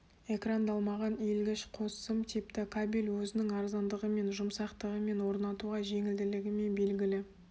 экрандалмаған иілгіш қос сым типті кабель өзінің арзандығымен жұмсақтығымен орнатуға жеңілділігімен белгілі